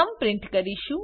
print કરીશું